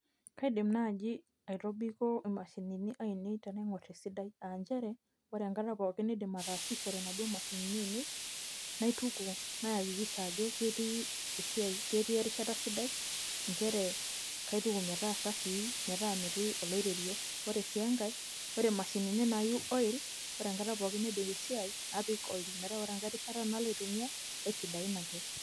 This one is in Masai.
kaidim naaji aitobiko mashinini ainei tenaingor esidai, aa nchere, ore enkata pookin naidim ataasishore inaduoo mashini ainei, naituku, nayakikisha ajo ketii erishata sidai. nchere kaituku metaa safii. metaa metii oloiterio. ore sii enkae ore mashinini naayieu oil ore enkata pokin tenadip esiai napik oil. metaa ore enkata pookin nalo aitumia keisidain ake.